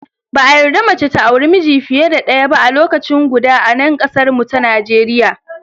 Ba a yarda mace ta auri miji fiye da daya ba a lokaci guda a nan kasar mu ta Najeriya.